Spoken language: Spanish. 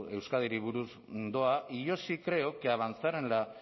euskadiri buruz doa y yo sí creo que avanzar en la